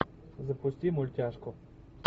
запусти мультяшку